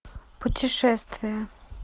путешествия